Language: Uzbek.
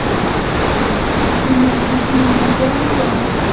Uni buzishning nima keragi bor?